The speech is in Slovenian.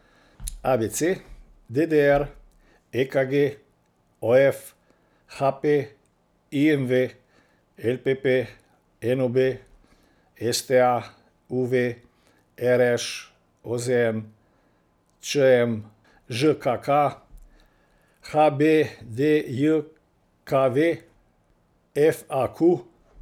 A B C; D D R; E K G; O F; H P; I M V; L P P; N O B; S T A; U V; R Š; O Z N; Č M; Ž K K; H B D J K V; F A Q.